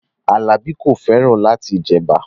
Alabi ko feran lati maa je eba